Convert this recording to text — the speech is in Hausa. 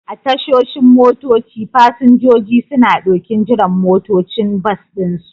A tashoshin motoci, fasinjoji suna ɗokin jiran motocin bas ɗinsu.